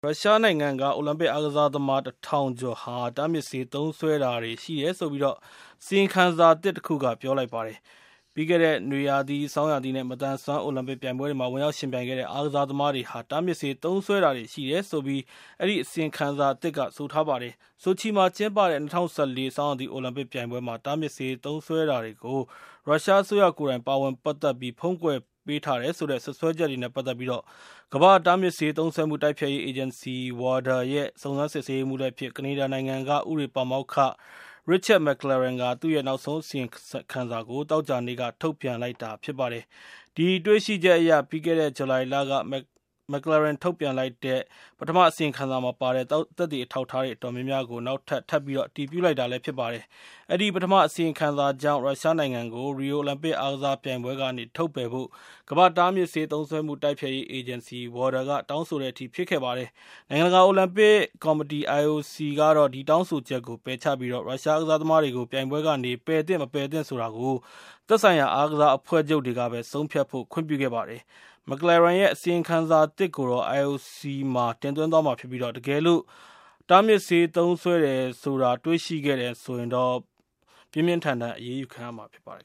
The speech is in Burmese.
ရုရှားနိုင်ငံက အိုလံပစ်အားကစားသမား ၁ ထောင်ကျော်ဟာ တားမြစ်ဆေး သုံးစွဲတာတွေရှိတယ်ဆိုပြီး၊ အစီရင်ခံစာအသစ်တခုက ပြောလိုက်ပါတယ်။ ပြီးခဲ့တဲ့ နွေရာသီ၊ ဆောင်းရာသီ နဲ့ မသန်စွမ်းအိုလံပစ်ပြိုင်ပွဲမှာ ဝင်ရောက် ယှဉ်ပြိုင်ခဲ့တဲ့ အားကစားသမားတွေဟာ တားမြစ်ဆေး သုံးစွဲတာတွေရှိတယ်ဆိုပြီး အဲဒီအစီရင်ခံစာက ပြောပါတယ်။ ဆိုချီမှာ ကျင်းပတဲ့ ၂၀၁၄ ဆောင်းရာသီအိုလံပစ်ပြိုင်ပွဲမှာ တားမြစ်ဆေး သုံးစွဲတာတွေကို ရုရှားအစိုးရကိုယ်တိုင် ပါဝင်ပတ်သက်ပြီး ဖုံးကွယ်ပေးထားတယ် ဆိုတဲ့ စွပ်စွဲချက်တွေ နဲ့ ပတ်သက်ပြီး၊ ကမ္ဘာ့တားမြစ်ဆေး သုံးစွဲမှု တိုက်ဖျက်ရေး အေဂျင်စီ (WADA) ရဲ့ စုံစမ်းစစ်ဆေးရေးမှူးလည်းဖြစ်၊ ကနေဒါနိုင်ငံက ဥပဒေပါမောက္ခ Richard McClaren က သူ့ရဲ့ နောက်ဆုံး အစီရင်ခံစာ ကို သောကြာနေ့က ထုတ်ပြန်လိုက်တာဖြစ်ပါတယ်။ ဒီတွေ့ရှိချက်တွေက ပြီးခဲ့တဲ့ ဇူလိုင်လက McClaren ထုတ်ပြန်လိုက်တဲ့ ပထမ အစီရင်ခံစာမှာပါတဲ့ သက်သေအထောက်အထားတွေ အတော်များများကို နောက်ထပ် ထပ်ပြီးတော့ အတည်ပြုလိုက်တာဖြစ်ပါတယ်။ အဲဒီ ပထမအစီရင်ခံစာကြောင့်၊ ရုရှားနိုင်ငံကို ရီယိုအိုလံပစ်အားကစားပြိုင်ပွဲကနေ ထုတ်ပယ်ဖို့ ကမ္ဘာ့တားမြစ်ဆေးသုံးစွဲမှု တိုက်ဖျက်ရေးအေဂျင်စီ က တောင်းဆို တဲ့အထိ ဖြစ်ခဲ့တာပါ။ နိုင်ငံတကာအိုလံပစ်ကော်မတီ (IOC) ကတော့ ဒီတောင်းဆိုချက်ကို ပယ်ချလိုက်ပြီး၊ ရုရှားအားကစားသမားတွေကို ပြိုင်ပွဲကနေ ပယ်သင့် မပယ်သင့်ဆိုတာကို သက်ဆိုင်ရာ အားကစားအဖွဲ့ချုပ်တွေကပဲ ဆုံးဖြတ်ဖို့ ခွင့်ပြုခဲ့ပါတယ်။ McClaren ရဲ့ အစီရင်ခံစာသစ်ကိုတော့ IOC ကို တင်သွင်းသွားမှာဖြစ်ပြီး ၊ တကယ်လို့ တားမြစ်ဆေးသုံးစွဲတယ်ဆိုတာ တွေ့ရှိတယ်ဆိုရင်တော့ ပြင်းထန်တဲ့အရေးယူမှုတွေ ခံရမှာဖြစ်ပါတယ်